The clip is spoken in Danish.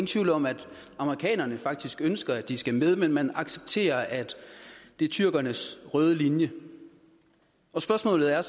tvivl om at amerikanerne faktisk ønsker at de skal med men man accepterer at det er tyrkernes røde linje spørgsmålet er